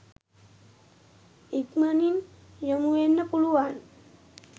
ඉක්මණින් යොමුවෙන්න පුළුවන්